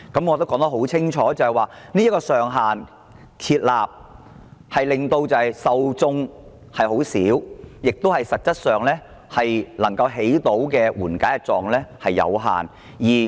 我已很清楚指出，有關上限的受眾很少，以致實際上能達到的紓緩作用十分有限。